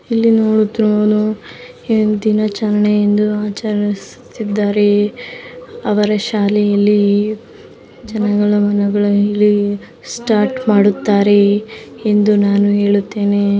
ಇಲ್ಲಿ ನೋಡುತ್ತಿರುವವನು ದಿನಾಚರಣೆ ಎಂದು ಆಚರಿಸುತಿದ್ದಾರೆ ಅವರ ಶಾಲೆಯಲ್ಲಿ ಜನಗಳ ಮನಗಳ ಇಲ್ಲಿ ಸ್ಟಾರ್ಟ್ ಮಾಡುತ್ತಾರೆ ಎಂದು ನಾನು ಹೇಳುತ್ತೇನೆ.